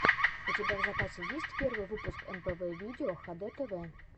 у тебя в запасе есть первый выпуск мпв видео хдтв